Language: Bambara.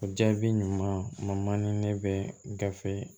O jaabi ɲuman ma ni ne bɛ gafe